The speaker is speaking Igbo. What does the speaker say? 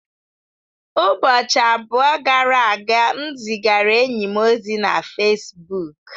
Ụbọchị abụọ gara aga, m zigara enyi m ozi na Fesbuk.